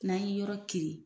N'a y'i yɔrɔ kirin.